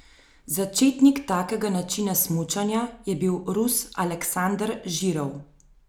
Začetnik takega načina smučanja je bil Rus Aleksander Žirov.